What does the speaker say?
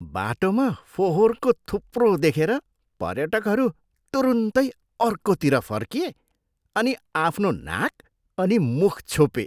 बाटोमा फोहोरको थुप्रो देखेर पर्यटकहरू तुरुन्तै अर्कोतिर फर्किए अनि आफ्नो नाक अनि मुख छोपे।